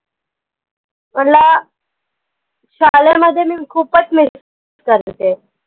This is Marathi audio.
त्यांला शाळेमध्ये मी खूपच miss करत होते.